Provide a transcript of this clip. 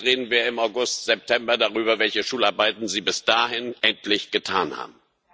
Vielleicht reden wir im August, September darüber, welche Schularbeiten Sie bis dahin endlich gemacht an haben.